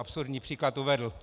Absurdní příklad uvedl.